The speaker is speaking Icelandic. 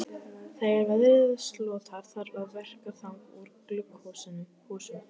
Þegar veðrinu slotar þarf að verka þang úr glugghúsum.